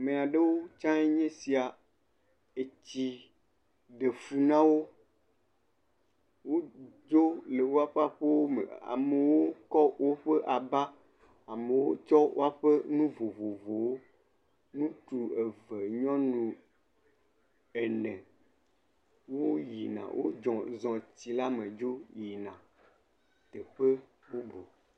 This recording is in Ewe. Ame aɖewo tsãe nye esia, etsi ɖe fu na wo, woŋu dzo le woƒe aƒe me amewo tsɔ woƒe aba amewo tsɔ nu vovovowo, ŋutsu eve nyɔnu ene woyina zɔ tsi la me yina teƒe bubu.